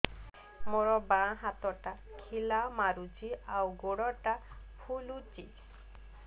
ମୋ ବାଆଁ ହାତଟା ଖିଲା ମାରୁଚି ଆଉ ଗୁଡ଼ ଟା ଫୁଲୁଚି